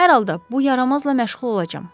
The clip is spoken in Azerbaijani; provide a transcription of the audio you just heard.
Hər halda, bu yaramazla məşğul olacam.